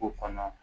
K'o kɔnɔ